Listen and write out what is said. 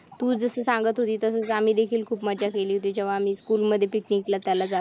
तू जस सांगत होती तसेच आम्ही देखील खूप मज्जा केली होती जेव्हा आम्ही स्कूल मध्ये picnic ला जात होतो